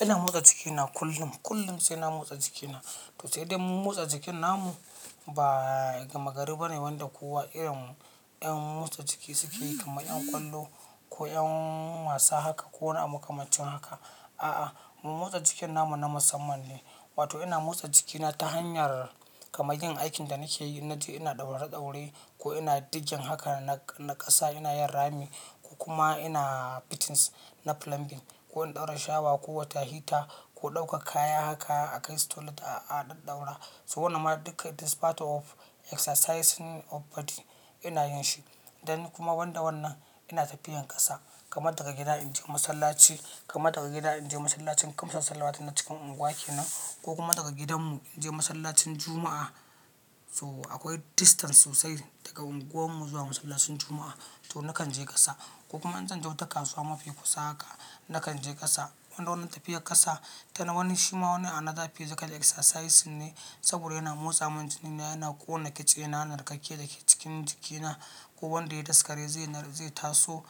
Ina motsa jikina kullum, kullum sai na motsa jikina. To sai dai mu motsa jikin namu ba gama gari bane wanda kowa irin 'yan motsa jiki suke yi kamar 'yan kwallo ko 'yan wasa haka ko wani abu makamancin haka. A'a, mu motsa jikin namu na musamman ne. Wato ina motsa jikina ta hanyar kamar yin aikin da nake yi, in naje ina ɗaure-daure ko ina diggin haka na ƙasa ina yin rami ko kuma ina fittings na plumbing ko in ɗaura shower ko water heater ko ɗaukar kaya haka a kasu toilet a a ɗaɗɗaura. So wannan ma duka this part of exercising of body ina yin shi. Then kuma banda wannan ina tafiyar ƙasa, kamar daga gida in je masallaci, kamar daga gida in je masallacin kamsa salawatu na cikin unguwa kenan ko kuma daga gidanmu in je masallacin Juma'a. So akwai distance sosai daga unguwarmu zuwa masallacin Juma'a. To na kan je ƙasa ko kuma in zan je wata kasuwa mafi kusa haka, na kan je ƙasa. Wanda wannan tafiyar ƙasa tana wani shima wani another physical exercising ne saboda yana motsa min jini na, yana ƙona kitsena, narkake da ke cikin jikina ko wanda ya yi daskare zai nar zai taso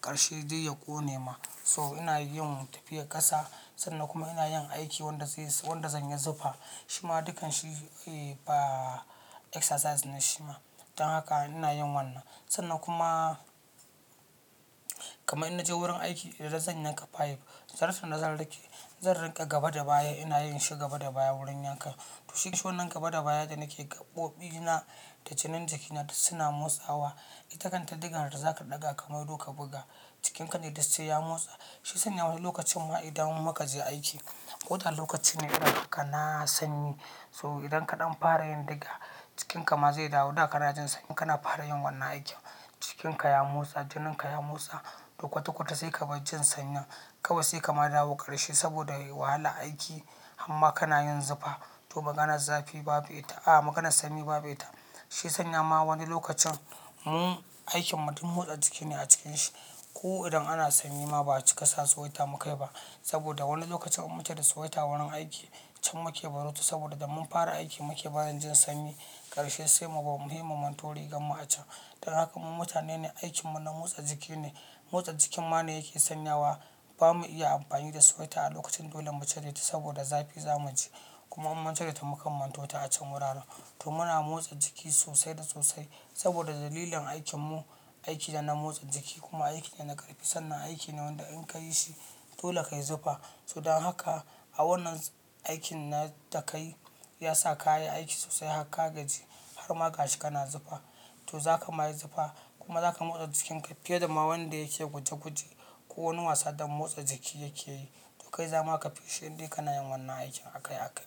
karshe dai ya ƙone ma. So ina yin tafiyar ƙasa sannan kuma ina yin aiki wanda zai s wanda zanyi zufa. Shima dukan shi eh, ba exercise ne shima. Dan haka ina yin wannan. Sannan kuma kamar ina je wurin aiki idan zan yanka pipe, zartonda zan riƙe, zan riƙa gaba da baya ina yin shi gaba da baya wurin yankan. To shi wannan gaba da baya da nake gaɓoɓina da janin jikina duk suna motsawa. Ita kanta ɗigar da zaka ɗaga kai maido ka buga, jikinka ne duk sai ya motsa. Shiya sanya wani lokacin ma idan mun makaje aiki, koda lokacin ne irin kana sanyi. So idan kaɗan fara yin diga, jikinka ma zai dawo da kana jin sanyi kana fara yin wannan aikin. Jikinka ya motsa, jininka ya motsa, to kwata-kwata sai ka bar jin sanyin. Kawai sai ka ma dawo karshe saboda wahalar aiki harma kana yin zufa. To maganar zafi babu ita, a'a maganar sanyi babu ita. Shiya sanya ma wani lokacin mu aikin mu duk motsa jiki ne a cikin shi. Ko idan ana sanyi ma ba a cika sa sweater muka yi ba saboda wani lokacin in mu tai da sweater wurin aiki can muke barota saboda da mun fara aiki muke barin jin sanyi. Karshe sai mubar muyi mu manto riganmu a can. Dan haka mu mutane ne aikin mu na motsa jiki ne. Motsa jikin ma ne yake sanyawa. Ba mu iya amfani da sweater a lokacin dole mu cireta saboda zafi za mu ji. Kuma in mun cire ta mukan manto ta a can wuraren. To muna motsa jiki sosai da sosai saboda dalilin aikin mu, aiki ne na motsa jiki kuma aiki ne na ƙarfi sannan aiki ne wanda in ka yi shi dole ka yi zufa. To dan haka a wannan aikin na da ka yi ya sa ka yi aiki sosai harka gaji har ma gashi kana zufa. To za ka ma yi zufa kuma za ka motsa jikinka fiye da ma wanda yake guje-guje ko wani wasa don motsa jiki yake yi. To kai zama ka fi shi inde kanayin wannan aikin akai akai.